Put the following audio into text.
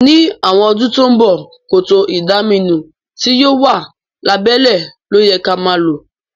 Ní àwon odún to n bo, kòtò ìdaminú ti yio wa lábẹ́lẹ́ lóyẹ ka ma lo